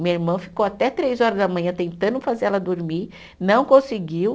Minha irmã ficou até três horas da manhã tentando fazer ela dormir, não conseguiu.